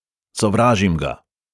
Sovražim ga!